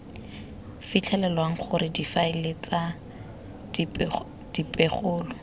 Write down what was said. fitlhelwang gore difaele tsa dipegelo